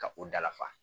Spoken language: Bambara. Ka u dafa